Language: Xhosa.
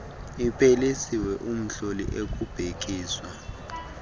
iphelisiwe umhloli ekubhekiswa